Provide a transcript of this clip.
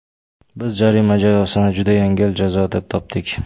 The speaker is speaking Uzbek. Biz jarima jazosini juda yengil jazo deb topdik.